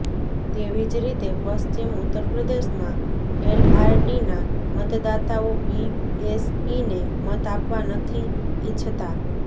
તેવી જ રીતે પશ્ચિમ ઉત્તર પ્રદેશમાં એલઆરડીના મતદાતાઓ બીએસપીને મત આપવા નથી ઈચ્છતા